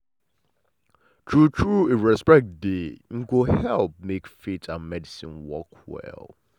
true true if respect dey em e go help make faith and medicine work well well.